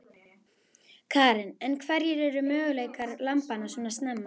Karen: En hverjir eru möguleikar lambanna svona snemma?